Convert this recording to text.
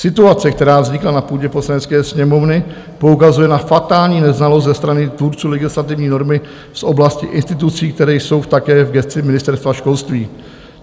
Situace, která vznikla na půdě Poslanecké sněmovny, poukazuje na fatální neznalost ze strany tvůrců legislativní normy z oblasti institucí, které jsou také v gesci Ministerstva školství.